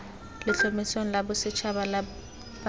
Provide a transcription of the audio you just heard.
letlhomesong la bosetšhaba la borutegi